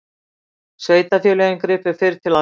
Sveitarfélögin gripu fyrr til aðgerða